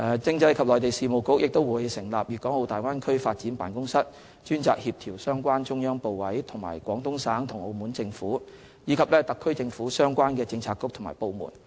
政制及內地事務局會成立"粵港澳大灣區發展辦公室"，專責協調相關中央部委及廣東省和澳門政府，以及特區政府相關政策局及部門。